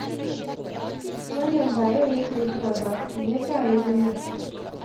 Wannan ba yau ya ke zuwa ba, me yasa ya zo yau?